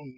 እዩ።